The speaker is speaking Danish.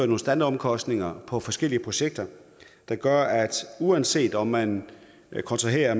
nogle standardomkostninger på forskellige projekter der gør at uanset om man kontraherer